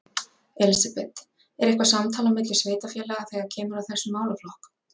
Elísabet: Er eitthvað samtal á milli sveitarfélaga þegar kemur að þessum málaflokk?